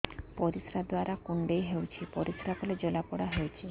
ପରିଶ୍ରା ଦ୍ୱାର କୁଣ୍ଡେଇ ହେଉଚି ପରିଶ୍ରା କଲେ ଜଳାପୋଡା ହେଉଛି